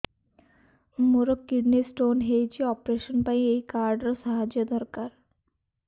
ମୋର kidney stone ହଇଛି operation ପାଇଁ ଏହି କାର୍ଡ ର ସାହାଯ୍ୟ ଦରକାର